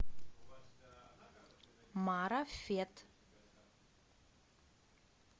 марафет